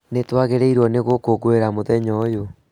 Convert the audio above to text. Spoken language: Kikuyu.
Nĩtwagĩrĩirwo nĩ gũkũngũĩra mũthenya ũyũ